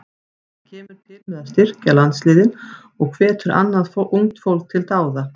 Það kemur til með að styrkja landsliðin og hvetur annað ungt fólk til dáða.